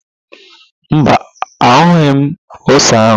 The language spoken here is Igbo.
Mba, ahụghị m ose áhụ̀.